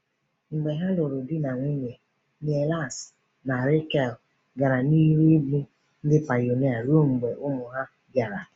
Mgbe ha lụrụ di na nwunye, Niels na Rakel gara n’ihu ịbụ ndị pionia ruo mgbe ụmụ ha bịara.